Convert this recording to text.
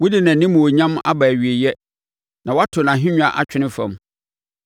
Wode nʼanimuonyam aba awieeɛ na woato nʼahennwa atwene fam.